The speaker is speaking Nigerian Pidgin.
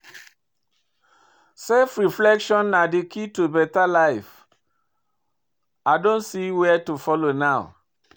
Self reflection na di key to better life, I don see where to follow now.